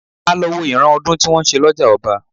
A lọ wo ìran ọdún eégún tí wọ́n ń ṣe lọ́jà ọba